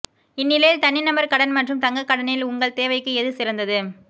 இந்நிலையில் தனிநபர் கடன் மற்றும் தங்க கடனில் உங்கள் தேவைக்கு எது சிறந்தது